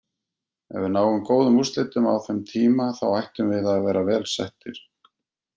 Ef við náum góðum úrslitum á þeim tíma þá ættum við að vera vel settir.